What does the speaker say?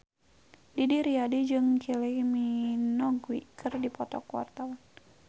Didi Riyadi jeung Kylie Minogue keur dipoto ku wartawan